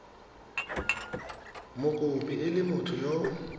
mokopi e le motho yo